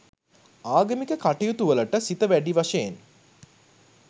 ආගමික කටයුතුවලට සිත වැඩි වශයෙන්